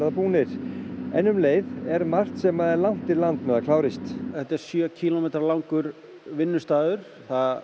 búnir en um leið er margt sem á langt í land með að klárast þetta er sjö kílómetra langur vinnustaður